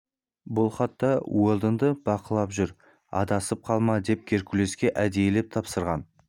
бұл хатта уэлдонды бақылап жүр адасып қалма деп геркулеске әдейілеп тапсырған